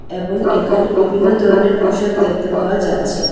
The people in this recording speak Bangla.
এবং এখানে বিভিন্ন ধরনের পোশাক দেখতে পাওয়া যাচ্ছে।